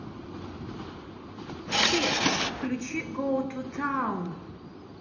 сбер включи гоу ту таун